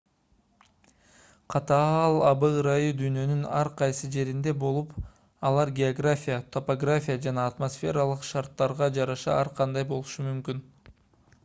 катаал аба ырайы дүйнөнүн ар кайсы жеринде болуп алар география топография жана атмосфералык шарттарга жараша ар кандай болушу мүмкүн